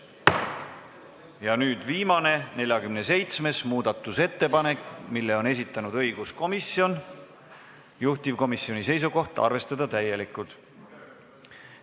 Ja nüüd viimane, 47. muudatusettepanek, mille on esitanud õiguskomisjon, juhtivkomisjoni seisukoht: arvestada seda täielikult.